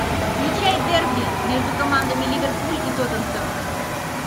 включай дерби между командами ливерпуль и тоттенхэм